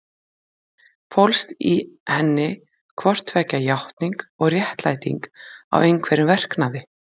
Fólst í henni hvort tveggja játning og réttlæting á einhverjum verknaði?